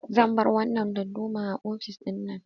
Zan bar wannan dadduma a ofis ɗin nan.